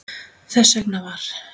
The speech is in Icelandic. Þess vegna var